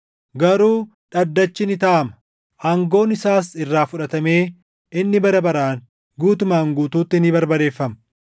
“ ‘Garuu dhaddachi ni taaʼama; aangoon isaas irraa fudhatamee inni bara baraan guutumaan guutuutti ni barbadeeffama.